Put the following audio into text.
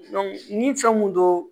ni fɛn mun don